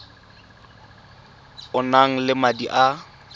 o nang le madi a